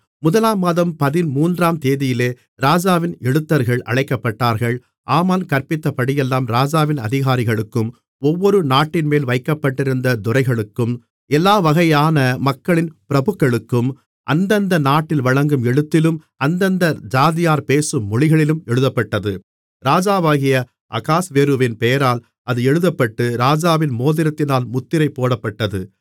முதலாம் மாதம் பதிமூன்றாந்தேதியிலே ராஜாவின் எழுத்தர்கள் அழைக்கப்பட்டார்கள் ஆமான் கற்பித்தபடியெல்லாம் ராஜாவின் அதிகாரிகளுக்கும் ஒவ்வொரு நாட்டின்மேல் வைக்கப்பட்டிருந்த துரைகளுக்கும் எல்லா வகையான மக்களின் பிரபுக்களுக்கும் அந்தந்த நாட்டில் வழங்கும் எழுத்திலும் அந்தந்த ஜாதியார் பேசும் மொழிகளிலும் எழுதப்பட்டது ராஜாவாகிய அகாஸ்வேருவின் பெயரால் அது எழுதப்பட்டு ராஜாவின் மோதிரத்தினால் முத்திரை போடப்பட்டது